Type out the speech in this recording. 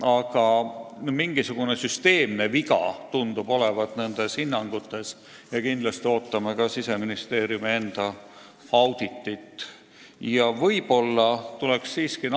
Aga nendes hinnangutes tundub olevat mingisugune süsteemne viga, nii et ootame huviga Siseministeeriumi enda auditi tulemusi.